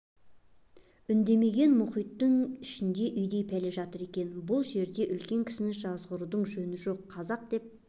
үндемеген мұхиттың ішінде үйдей пәле жатыр екен бұл жерде үлкен кісіні жазғырудың жөні жоқ қазақ деп